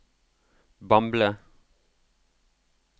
Bamble